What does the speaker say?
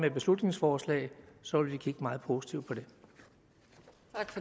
et beslutningsforslag og så vil vi kigge meget positivt på